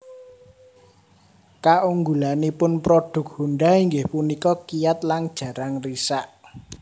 Kaunggulanipun prodhuk Honda inggih punika kiyat lan jarang risak